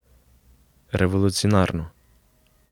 Revolucionarno.